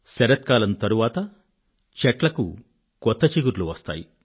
శరత్కాలం తరువాత చెట్లకు కొత్త చిగుర్లు వస్తాయి